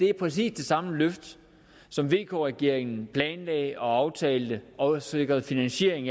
er præcis det samme løft som vk regeringen planlagde og aftalte og sikrede finansiering